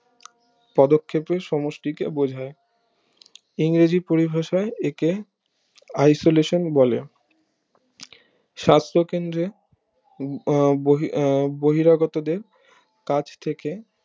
পদক্ষপের সমষ্টিকে বোঝায় ইংরেজি পরিভাষায় একে isolation বলে সাস্থ কেন্দ্রে উম আহ বহিরাগতদের কাজ থেকে